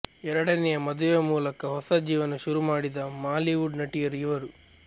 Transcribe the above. ಎರಡನೆಯ ಮದುವೆಯ ಮೂಲಕ ಹೊಸ ಜೀವನ ಶುರುಮಾಡಿದ ಮಾಲಿವುಡ್ ನಟಿಯರು ಇವರು